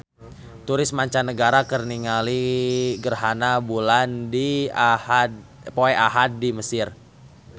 Turis mancanagara keur ningali gerhana bulan poe Ahad di Mesir